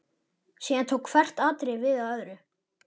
Síðan tók hvert atriðið við af öðru.